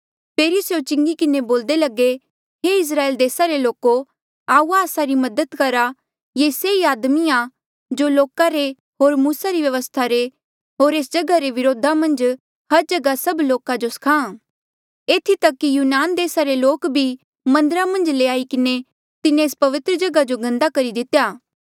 फेरी स्यों चिंगी किन्हें बोल्दे लगे हे इस्राएल देसा रे लोको आऊआ आस्सा री मदद करा ये से ई आदमी आ जो लोका रे होर मूसा री व्यवस्था रे होर एस जगहा रे व्रोधा मन्झ हर जगहा सभ लोका जो स्खाहां एथी तक कि यूनान देसा रे लोक भी मन्दरा मन्झ ल्याई किन्हें तिन्हें एस पवित्रजगहा जो गन्दा करी दितेया